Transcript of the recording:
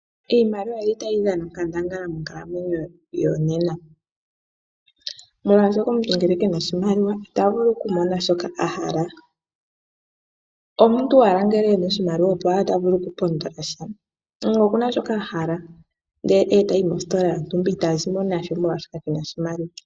Iimaliwa oyili tayi dhana onkandangala monkalamwenyo yo nena, molwashoka omuntu ngele kena oshimaliwa ita vulu oku mona shoka ahala. Omuntu owala ngele ena oshimaliwa opo owala ta vulu oku pondola sha. Omuntu nge okuna shoka ahala nde tayi mositola ita zimo nasho molwashoka kena shimaliwa